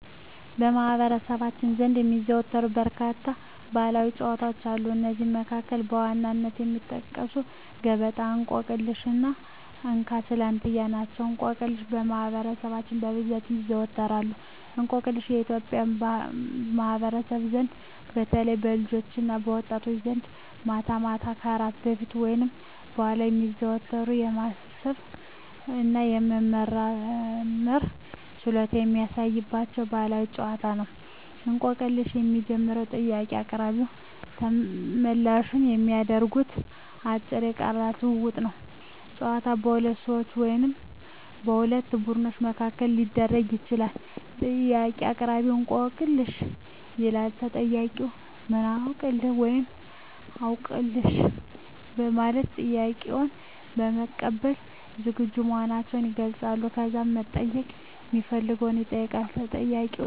በማኅበረሰባችን ዘንድ የሚዘወተሩ በርካታ ባሕላዊ ጨዋታዎች አሉ። ከእነዚህም መካከል በዋነኝነት የሚጠቀሱት ገበጣ፣ እንቆቅልሽ እና እንካ ስላንትያ ናቸው። እንቆቅልሽ በማህበረሰባችን በብዛት ይዘዎተራል። እንቆቅልሽ በኢትዮጵያ ማኅበረሰብ ዘንድ በተለይም በልጆችና በወጣቶች ዘንድ ማታ ማታ ከእራት በፊት ወይም በኋላ የሚዘወተር፣ የማሰብ እና የመመራመር ችሎታን የሚያሳድግ ባሕላዊ ጨዋታ ነው። እንቆቅልሽ የሚጀምረው ጥያቄ አቅራቢውና ተመልላሹ በሚያደርጉት አጭር የቃላት ልውውጥ ነው። ጨዋታው በሁለት ሰዎች ወይም በሁለት ቡድኖች መካከል ሊደረግ ይችላል። ጥያቄ አቅራቢ፦ "እንቆቅልህ/ሽ?" ይላል። ተጠያቂው፦ "ምን አውቅልህ?" (ወይም "አውቅልሽ") በማለት ጥያቄውን ለመቀበል ዝግጁ መሆኑን ይገልጻል። ከዛም መጠየቅ ሚፈልገውን ይጠይቃል። ተጠያቂውም አስቦ መልስ ይሰጣል። ካለወቀው ደግሞ ሀገ